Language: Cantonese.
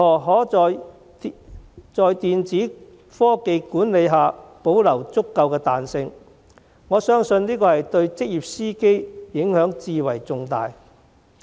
我相信在電子科技管理下保留足夠的彈性，對職業司機的影響至為重要。